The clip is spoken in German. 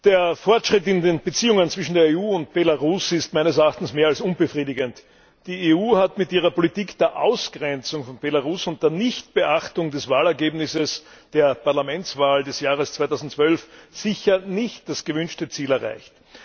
Der Fortschritt in den Beziehungen zwischen der EU und Belarus ist meines Erachtens mehr als unbefriedigend. Die EU hat mit ihrer Politik der Ausgrenzung von Belarus und der Nichtbeachtung des Wahlergebnisses der Parlamentswahl des Jahres 2012 sicher nicht das gewünschte Ziel erreicht.